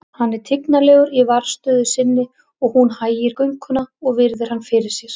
Hann er tignarlegur í varðstöðu sinni og hún hægir gönguna og virðir hann fyrir sér.